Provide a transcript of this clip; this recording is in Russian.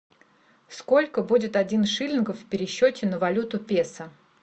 сколько будет один шиллингов в пересчете на валюту песо